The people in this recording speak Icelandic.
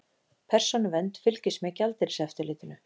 Persónuvernd fylgist með gjaldeyriseftirlitinu